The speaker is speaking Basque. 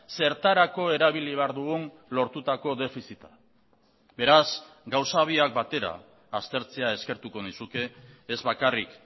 zertarako erabili behar dugun lortutako defizita beraz gauza biak batera aztertzea eskertuko nizuke ez bakarrik